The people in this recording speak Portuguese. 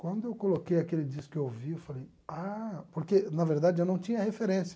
Quando eu coloquei aquele disco que eu ouvi, eu falei, ah, porque na verdade eu não tinha referência.